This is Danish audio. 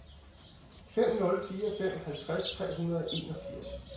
fem nul fire fem halvtreds tre hundrede og enogfirs